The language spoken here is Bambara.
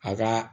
A ka